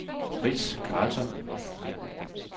Frits Karlsson